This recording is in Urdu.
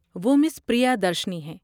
وہ مس پریادرشنی ہیں۔